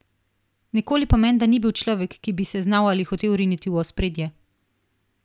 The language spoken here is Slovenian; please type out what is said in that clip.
Nikoli pa menda ni bil človek, ki bi se znal ali hotel riniti v ospredje.